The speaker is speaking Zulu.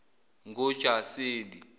ngojaseli